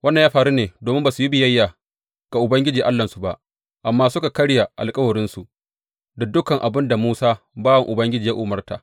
Wannan ya faru ne domin ba su yi biyayya ga Ubangiji Allahnsu ba, amma suka karya alkawarinsu; da dukan abin da Musa bawan Ubangiji ya umarta.